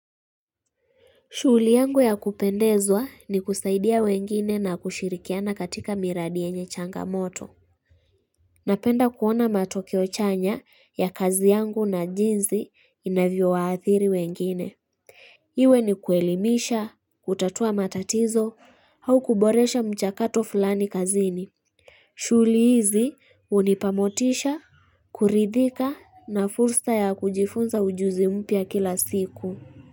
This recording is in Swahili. Shuuli yangu ya kupendezwa ni kusaidia wengine na kushirikiana katika miradi yenye changamoto. Napenda kuona matokeo chanya ya kazi yangu na jinzi inavyo waathiri wengine. Iwe ni kuelimisha, kutatua matatizo au kuboresha mchakato fulani kazini. Shuuli hizi unipamotisha, kuridhika na fursa ya kujifunza ujuzi mpya kila siku.